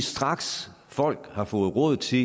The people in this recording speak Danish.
straks folk har fået råd til